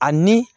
Ani